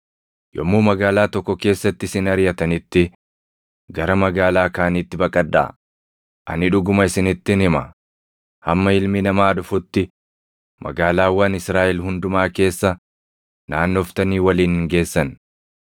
Yommuu magaalaa tokko keessatti isin ariʼatanitti, gara magaalaa kaaniitti baqadhaa; ani dhuguma isinittin hima; hamma Ilmi Namaa dhufutti magaalaawwan Israaʼel hundumaa keessa naannoftanii waliin hin geessan.